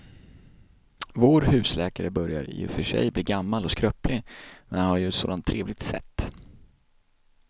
Vår husläkare börjar i och för sig bli gammal och skröplig, men han har ju ett sådant trevligt sätt!